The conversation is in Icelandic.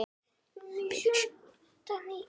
Hvernig fór hann að þessu?